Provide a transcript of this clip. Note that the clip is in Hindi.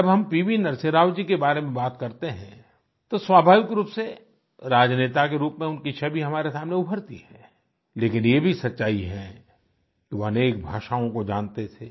जब हम पीवी नरसिम्हा राव जी के बारे में बात करते हैं तो स्वाभाविक रूप से राजनेता के रूप में उनकी छवि हमारे सामने उभरती है लेकिन यह भी सच्चाई है कि वे अनेक भाषाओँ को जानते थे